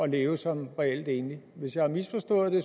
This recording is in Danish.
leve som reelt enlig hvis jeg har misforstået det